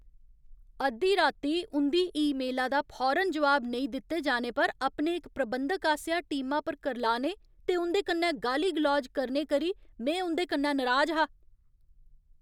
अद्धी राती उं'दी ईमेला दा फौरन जोआब नेईं दित्ते जाने पर अपने इक प्रबंधक आसेआ टीमा पर करलाने ते उं'दे कन्नै गाली गलौज करने करी में उं'दे कन्नै नराज हा।